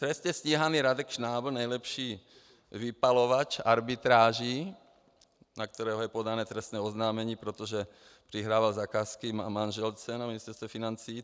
Trestně stíhaný Radek Šnábl, nejlepší vypalovač arbitráží, na kterého je podáno trestní oznámení, protože přihrával zakázky manželce na Ministerstvo financí.